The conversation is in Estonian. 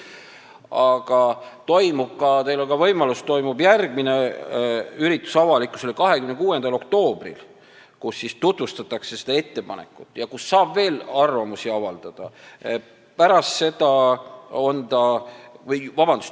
Aga 26. oktoobril toimub järgmine üritus avalikkusele – teil on ka võimalus tulla –, kus tutvustatakse seda ettepanekut ja kus saab veel arvamust avaldada.